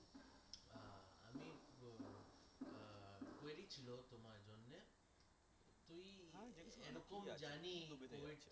জানি